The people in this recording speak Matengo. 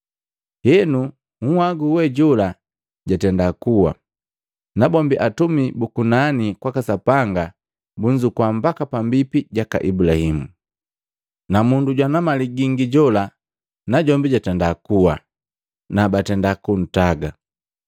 Henu nhagu we jola jatenda kuwa, nabombi atumi bu kunani kwaka Sapanga bunzukua mbaka pambipi jaka Ibulahimu. Na mundu jwana mali gingi jola najombi jatenda kuwa na batenda kuntaga.